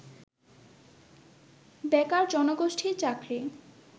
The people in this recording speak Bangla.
বেকার জনগোষ্ঠীর চাকরি